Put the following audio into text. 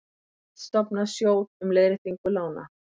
Vill stofna sjóð um leiðréttingu lána